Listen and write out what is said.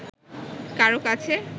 কারও কাছে